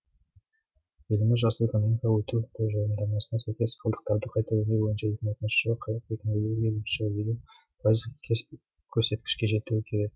еліміз жасыл экономикаға өту тұжырымдамасына сәйкес қалдықтарды қайта өңдеу бойынша екі мың отызыншы жылы қырық екі мың елуінші жылы елу пайыздық көрсеткішке жетуі керек